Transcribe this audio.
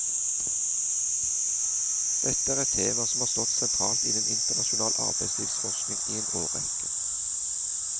Dette er et tema som har stått sentralt innen internasjonal arbeidslivsforskning i en årrekke.